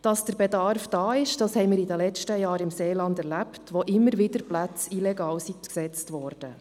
Dass der Bedarf da ist, das erlebten wir in den letzten Jahren im Seeland, wo immer wieder Plätze illegal besetzt wurden.